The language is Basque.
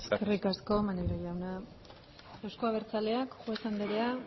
eskerrik asko maneiro jauna euzko abertzaleak juez anderea